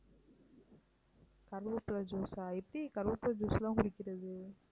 கறிவேப்பிலை juice ஆ எப்படி கறிவேப்பிலை juice லாம் குடிக்கிறது?